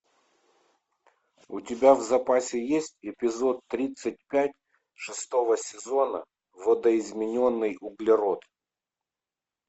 у тебя в запасе есть эпизод тридцать пять шестого сезона видоизмененный углерод